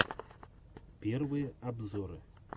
первые обзоры